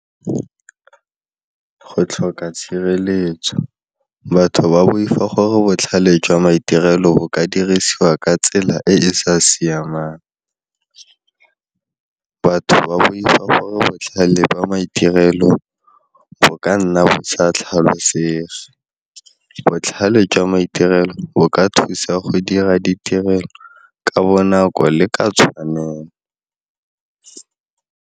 Go tlhoka tshireletso batho ba boifa gore botlhale jwa maitirelo bo ka dirisiwa ka tsela e e sa siamang. Batho ba boifa gore botlhale jwa maitirelo bo ka nna bo sa tlhalosege, botlhale jwa maitirelo bo ka thusa go dira ditirelo ka bonako le ka tshwanelo.